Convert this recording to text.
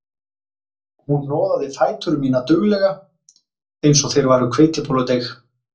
Hún hnoðaði fætur mína duglega eins og þeir væru hveitibolludeig